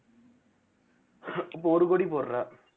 இப்ப ஒரு கோடி போடுறே